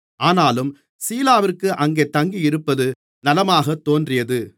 ஆனாலும் சீலாவிற்கு அங்கே தங்கியிருப்பது நலமாகத் தோன்றியது